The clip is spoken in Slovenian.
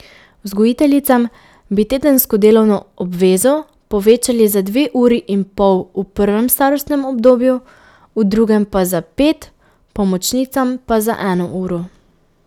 Vzgojiteljicam bi tedensko delovno obvezo povečali za dve uri in pol v prvem starostnem obdobju, v drugem pa za pet, pomočnicam pa za eno uro.